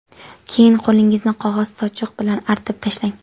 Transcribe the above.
Keyin qo‘lingizni qog‘oz sochiq bilan artib tashlang.